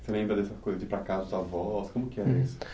Você lembra dessa coisa de ir para casa dos avós? Como que era isso?